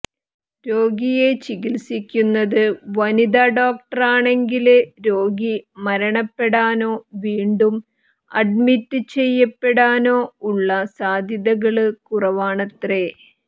രോഗിയെ ചികിത്സിക്കുന്നത് വനിതാ ഡോക്ടറാണെങ്കില് രോഗി മരണപ്പെടാനോ വീണ്ടും അഡ്മിറ്റ് ചെയ്യപ്പെടാനോ ഉള്ള സാധ്യതകള് കുറവാണത്രെ